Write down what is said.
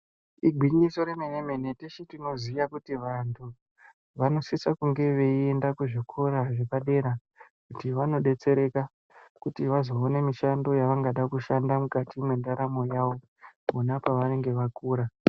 Igwinyiso remenemene teshe tinoziya kuti vanhu vanosisa kunge veienda kuzvikora zvepadera kuti vanobetsereka kuti vazoona mishando yavangada kushanda mukati mendaramo yavo pona pavanenge vakura .